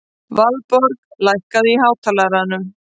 Valborg, lækkaðu í hátalaranum.